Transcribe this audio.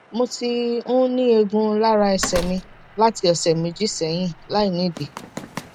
mo ti ń ní ẹgún lára ẹsẹ mi láti ọsẹ méjì sẹyìn láìnídìí